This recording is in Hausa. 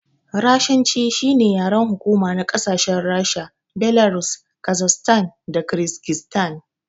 Rashanci shine yaren hukuma na ƙasashen Rasha, Belarus Kazakstan da Kirigistan